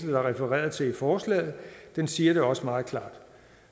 refereret til i forslaget siger det også meget klart